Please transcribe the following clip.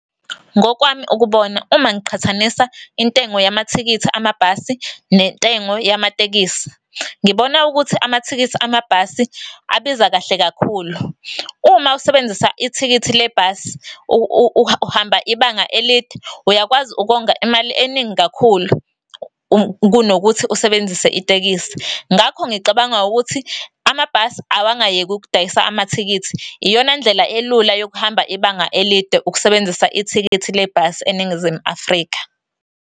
Ngokwami ukubona uma ngiqhathanisa intengo yamathikithi amabhasi nentengo yamatekisi, ngibona ukuthi amathikithi amabhasi abiza kahle kakhulu. Uma usebenzisa ithikithi lebhasi uhamba ibanga elide, uyakwazi ukonga imali eningi kakhulu kunokuthi usebenzise itekisi. Ngakho ngicabanga ukuthi amabhasi awangayeki ukudayisa amathikithi. Iyona ndlela elula yokuhamba ibanga elide ukusebenzisa ithikithi lebhasi eNingizimu Afrika.